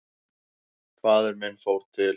Faðir minn fór til